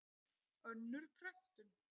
Önnur prentun.